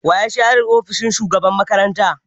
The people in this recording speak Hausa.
Wa ya share ofishin shugaban makaranta?